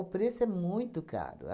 preço é muito caro.